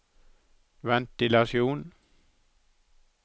ventilasjon